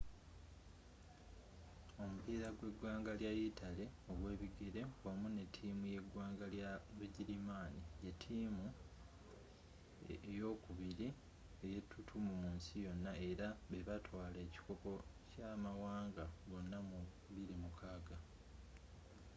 omupiira gweggwanga lwa yitale ogwebigere wamu nettiimu yeggwanga lya bugirimaani yettiimu eyokkubiri eyetutumu mu nsi yonna era bebatwala ekikopo kyamawanga gonna mu 2006